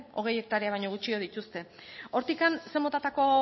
hogei hektarea baino gutxiago dituzte hortik zein motatako